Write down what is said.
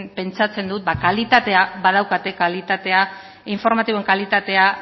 pentsatzen dut kalitatea badaukatela informatiboen kalitatea